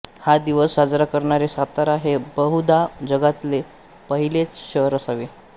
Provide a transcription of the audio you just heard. हा दिवस साजरा करणारे सातारा हे बहुधा जगातले पहिलेच शहर असावे